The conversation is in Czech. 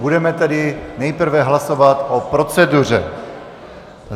Budeme tedy nejprve hlasovat o proceduře.